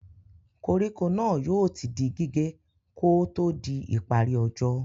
Koríko náà yóò ti di gígé kò ó tó di ìparí ọjọ́.